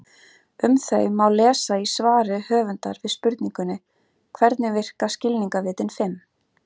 Um þau má lesa í svari höfundar við spurningunni Hvernig virka skilningarvitin fimm?